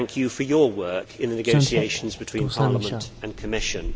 I thank you for your work in the negotiations between Parliament and the Commission.